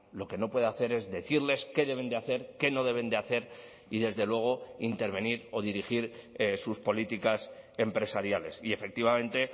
lo que no puede hacer es decirles qué deben de hacer qué no deben de hacer y desde luego intervenir o dirigir sus políticas empresariales y efectivamente